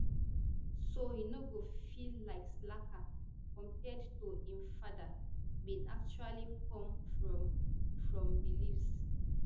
so e no go feel like slacker compared to im father bin actually come from from beliefs